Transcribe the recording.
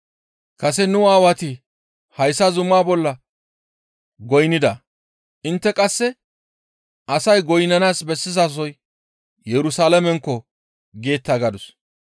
Kase nu Aawati hayssa zumaa bolla goynnida; intte qasse, ‹Asay goynnanaas bessizasoy Yerusalaamenkko!› geeta» gadus.